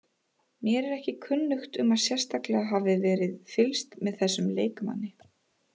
Mér er ekki kunnugt um að sérstaklega hafi verið fylgst með þessum leikmanni.